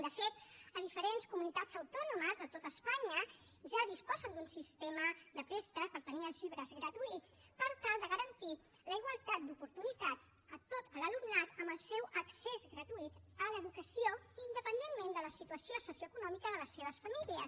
de fet a diferents comunitats autònomes de tot espanya ja disposen d’un sistema de préstec per tenir els llibres gratuïts per tal de garantir la igualtat d’oportunitats a tot l’alumnat amb el seu accés gratuït a l’educació independentment de la situació socioeconòmica de les seves famílies